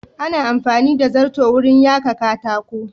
Ana amfani da zarton wurin yaka katako.